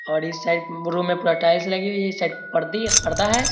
और इस side room में पूरा टाइल्स लगी हुई है इस साइड परदी ही पर्दा है |